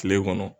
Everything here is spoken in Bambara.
Kile kɔnɔ